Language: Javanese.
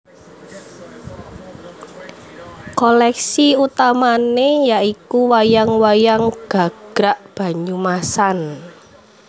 Koleksi utamané ya iku wayang wayang gagrak Banyumasan